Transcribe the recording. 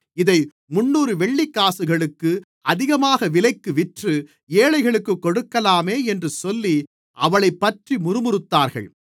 இதை முந்நூறு வெள்ளிக்காசுகளுக்கு அதிகமான விலைக்கு விற்று ஏழைகளுக்குக் கொடுக்கலாமே என்று சொல்லி அவளைப்பற்றி முறுமுறுத்தார்கள்